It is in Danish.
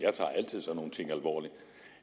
nogle ting alvorligt